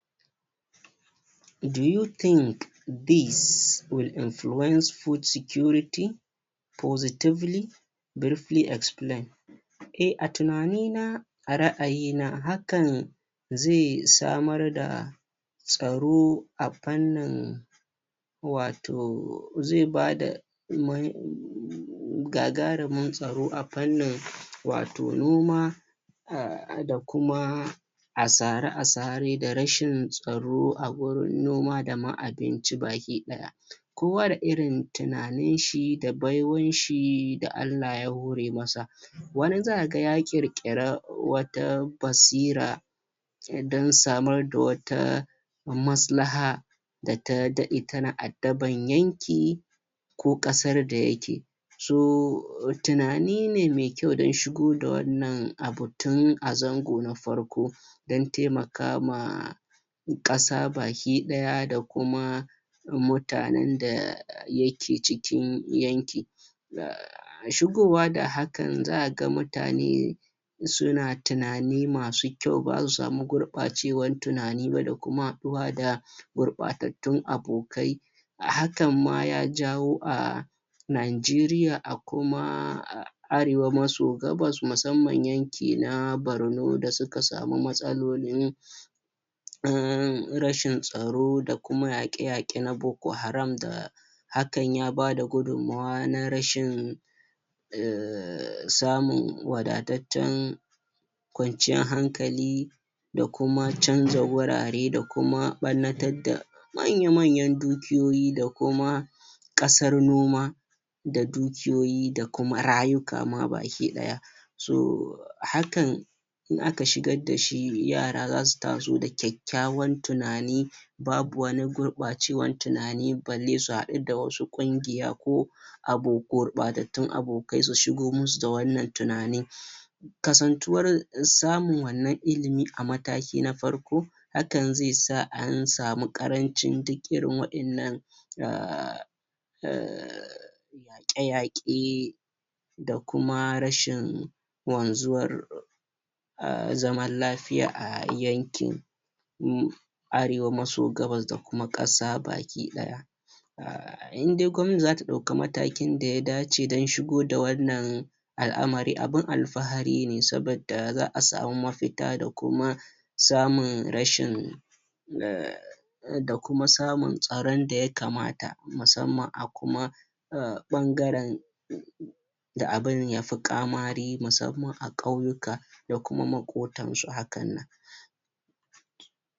Do you think these will influence food security positively briefly explain eh, a tunani na, a ra'ayi na, hakan ze samar da tsaro a fannin wato ze bada gagarumin tsaro a fannin wato noma a da kuma asare-asare da rashin tsaro a gurin noma da ma abinci bakiɗaya kowa da irin tunanin shi da baiwan shi da Allah ya hore masa wani zaka ga ya ƙirƙira wata basira dan samar da wata maslaha da ta daɗe tana addaban yanki ko ƙasar da yake so tunani ne mai kyau dan shigo a wannan abu tun a zango na farko dan taimaka ma ƙasa bakiɗaya da kuma mutanen da yake cikin yanki shigowa da hakan zaka ga mutane suna tunani masu kyau ba zasu samu gurɓacewan tunani ba da kuma haɗuwa da gurɓatattun abokai a hakan ma ya jawo a Nigeria a kuma Arewa maso Gabas musamman yanki na Barno da suka samu matsalolin rashin tsaro da kuma yaƙe-yaƙe na boro-haram da hakan ya bada gudummawa na rashin samun wadataccen kwanciyan hankali da kuma canza wurare da kuma ɓannatar da manya-manyan dukiyoyi da kuma ƙasar noma da dukiyoyi da kuma rayuka ma bakiɗaya so hakan in aka shigar da shi yara zasu taso da kyakkyawan tunani babu wani gurɓacewan tunani balle su haɗu da wasu ƙungiya ko abubuwar gurɓatattun abokai su shigo musu da wannan tunani kasantuwar samun wannan ilimi a mataki na farko haka zai sa an samu ƙarancin duk irin waƴannan a a yaƙe-yaƙe da kuma rashin wazuwar a zaman lafiya a yankin Arewa maso Gabas da kuma ƙasa bakiɗaya indai gwamnati zata ɗauka matakin da ya dace dan shigo da wannan al'amari abin alfahari ne saboda za'a samu mafita da kuma samun rashin a da kuma samun tsaron da yakamata musamman a kuma a ɓangaren da abin yafi ƙamari musamman a ƙauyuka da kuma maƙotan su hakan nan.